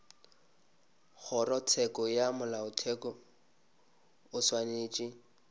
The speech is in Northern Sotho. kgorotsheko ya molaotheo o swanetše